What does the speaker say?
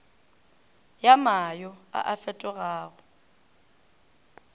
ya mayo a a fetogago